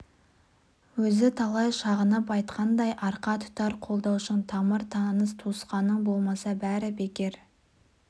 өзі талай шағынып айтқандай арқа тұтар қолдаушың тамыр-таныс туысқаның болмаса бәрі бекер